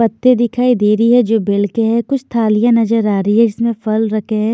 पत्ते दिखाई दे रही है जो बेल के है कुछ थालियां नजर आ रही है इसमें फल रखे हैं।